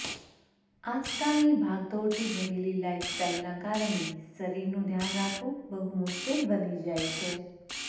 આજકાલની ભાગદોડથી ભરેલી લાઈફસ્ટાઈલના કારણે શરીરનું ધ્યાન રાખવું બહુ મુશ્કેલ બની જાય છે